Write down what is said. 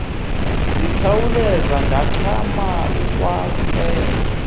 ndikhawuleze ndangxama ukwamkela